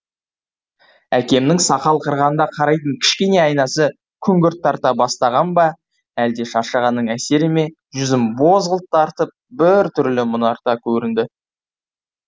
әкемнің сақал қырғанда қарайтын кішкене айнасы күңгірт тарта бастаған ба әлде шаршағанның әсері ме жүзім бозғылт тартып бір түрлі мұнартып көрінді